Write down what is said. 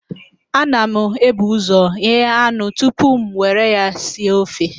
Ana m ebu ụzọ ghee anụ tupu m nwere ya sie ofe